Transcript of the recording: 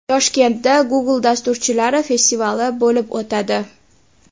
Toshkentda Google dasturchilari festivali bo‘lib o‘tadi.